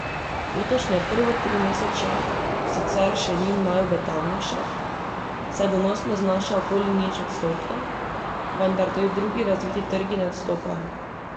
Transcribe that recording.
Letošnje prvo trimesečje sicer še ni najobetavnejše, saj donosnost znaša okoli nič odstotkov, vendar tudi drugi razviti trgi ne odstopajo.